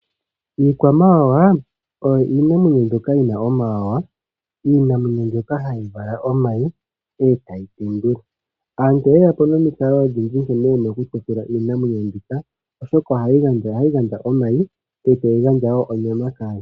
Iikwamawawa oyo iinamwenyo mbyoka yina omawawa, iinamwenyo mbyoka hayi vala omayi, eta yi tendula. Aantu oye ya po nomikalo dhi ili nkene wuna okutekula iinamwenyo mbyoka, oshoka ohayi gandja omayi nonyama kaantu.